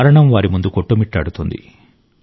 మరణం వారి ముందు కొట్టుమిట్టాడుతోంది